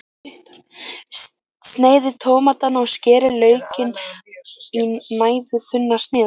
Sneiðið tómatana og skerið laukinn í næfurþunnar sneiðar.